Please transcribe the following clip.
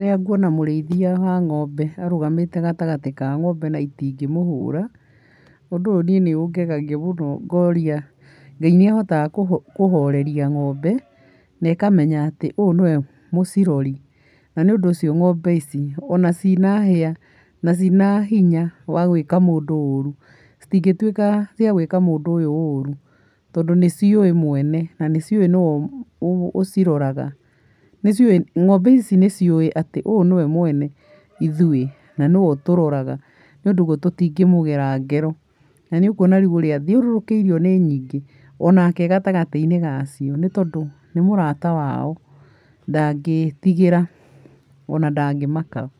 Rĩrĩa nguona mũrĩithia wa ng’ombe arũgamĩte gatagatĩ wa ngombe na itingĩmũhũra, ũndũ ũyũ nĩ ũngegagia mũno, ngoria ngai nĩ ahotaga kũhoreria ng’ombe ikamenya atĩ ũyũ nĩwe mũcirori , na nĩ ũndũ ũcio ng’ombe ici ona cina hĩa, na cina hinya wa gwĩka mũndũ ũrũ, citingĩtwika cia guĩka mũndũ ũyũ ũru, tondũ nĩ ciũĩ mwene na nĩciũĩ nũ ũciroraga, nĩcũĩ atĩ ũyũ niye mwene ithũĩ na nĩwe ũtũroraga nĩ ũndũ ũguo tũtingĩ mũgera ngero, na nĩ ũkwona ũrĩa athiũrũkĩirio nĩ nyingĩ ,onake e gatagatĩ wacio nĩ mũrata wao ndangĩtigira ona ndangĩmaka.